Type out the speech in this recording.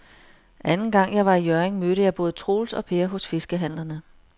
Anden gang jeg var i Hjørring, mødte jeg både Troels og Per hos fiskehandlerne.